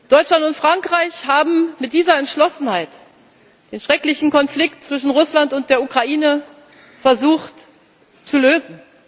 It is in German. Deutschland und Frankreich haben mit dieser Entschlossenheit den schrecklichen Konflikt zwischen Russland und der Ukraine versucht zu lösen.